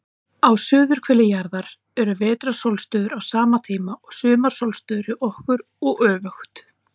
Á suðurhveli jarðar eru vetrarsólstöður á sama tíma og sumarsólstöður hjá okkur, og öfugt.